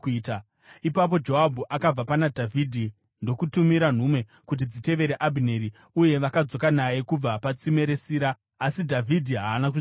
Ipapo Joabhu akabva pana Dhavhidhi ndokutumira nhume kuti dzitevere Abhineri, uye vakadzoka naye kubva patsime reSira. Asi Dhavhidhi haana kuzviziva.